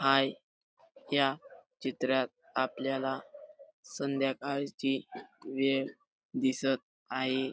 हाय या चित्रात आपल्याला संध्याकाळची वेळ दिसत आहे.